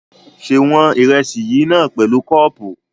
Ṣé wọn ìrẹsì yìí náà pẹ̀lú kọ́ọ̀pù?